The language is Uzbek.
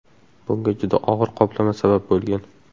Bunga juda og‘ir qoplama sabab bo‘lgan.